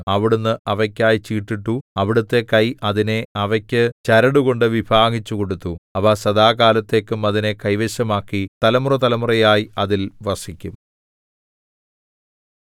അവിടുന്ന് അവക്കായി ചീട്ടിട്ടു അവിടുത്തെ കൈ അതിനെ അവയ്ക്കു ചരടുകൊണ്ടു വിഭാഗിച്ചു കൊടുത്തു അവ സദാകാലത്തേക്കും അതിനെ കൈവശമാക്കി തലമുറതലമുറയായി അതിൽ വസിക്കും